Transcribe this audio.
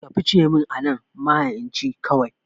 Ka fice min anan maha'inci kawai